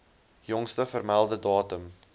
jongste vermelde datum